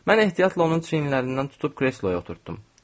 Mən ehtiyatla onun çiyinlərindən tutub kresloya oturdum.